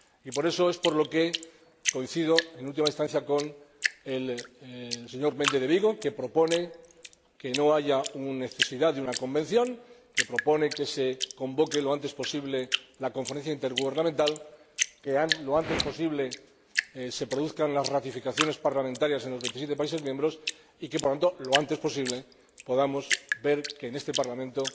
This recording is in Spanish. Por eso coincido en última instancia con el señor Méndez de Vigo, que propone que no haya necesidad de una Convención, que se convoque lo antes posible la Conferencia Intergubernamental, que lo antes posible se produzcan las ratificaciones parlamentarias en los 27 países miembros, y que, por lo tanto, lo antes posible, podamos ver en este Parlamento